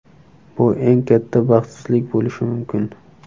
Bu eng katta baxtsizlik bo‘lishi mumkin.